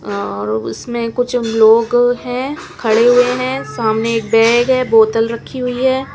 और उसमे कुछ लोंग है खड़े खड़े हुए है सामने एक बैग है बोतल रखी हुई है ।